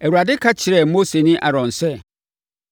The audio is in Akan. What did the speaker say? Awurade ka kyerɛɛ Mose ne Aaron sɛ,